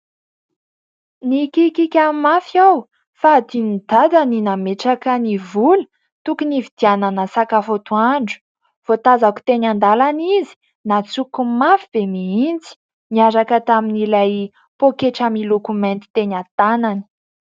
Nikikika mafy aho fa andinon'i dada ny nametraka ny vola tokony hividianana sakafo antoandro. Voatazako teny an-dalana izy, nantsoko mafy be mihintsy ; miaraka tamin'ilay poketra miloko mainty teny an-tanany.